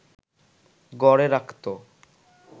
গড়ে রাখত